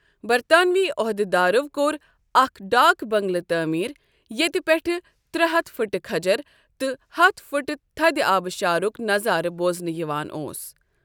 برطانوی عۄہدٕ دارو کوٚر اَکھ ڈاک بٔنٛگلہٕ تعمیٖر ییتہِ پیٹھہٕ ترٛے ہتھ فٕٹہٕ كھجرٕ تہٕ ہتھ فٕٹہ تھدِ آبٕشارُك نظارٕ بوزنہٕ یوان اوس ۔